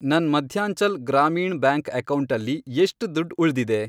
ನನ್ ಮಧ್ಯಾಂಚಲ್ ಗ್ರಾಮೀಣ್ ಬ್ಯಾಂಕ್ ಅಕೌಂಟಲ್ಲಿ ಎಷ್ಟ್ ದುಡ್ಡ್ ಉಳ್ದಿದೆ?